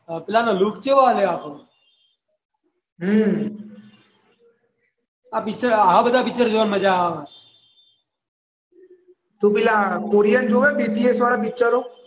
પેલા નો લુક ચેવો આલ્યો આખો હ આ પિક્ચર આવા બધા પિક્ચર જોવાની મજા આવે તું પેલા કોરિયન જોવે બીબીસી વાળા પિક્ચરો